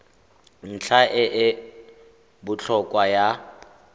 ntlha e e botlhokwa ya